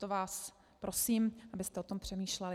Proto vás prosím, abyste o tom přemýšleli.